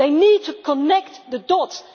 They need to connect the dots